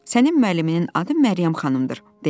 Sənin müəlliminin adı Məryəm xanımdır, dedi.